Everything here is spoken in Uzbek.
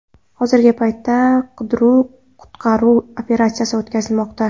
Hozirgi paytda qidiruv-qutqaruv operatsiyasi o‘tkazilmoqda.